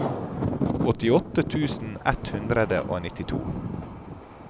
åttiåtte tusen ett hundre og nittito